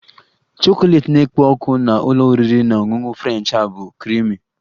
Chocolate na-ekpo ọkụ na ụlọ oriri na ọṅụṅụ French a bụ creamy